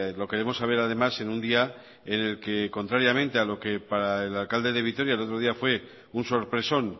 lo queremos saber además en un día en el que contrariamente a lo que para el alcalde de vitoria el otro día fue un sorpresón